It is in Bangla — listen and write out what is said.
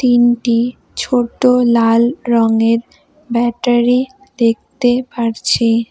তিনটি ছোটো লাল রঙের ব্যাটারি দেখতে পারছি।